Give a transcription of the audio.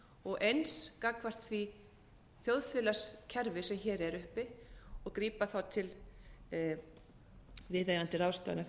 og eins gagnvart því þjóðfélagskerfi sem hér er uppi og grípa þá til viðeigandi ráðstafana þegar á þarf að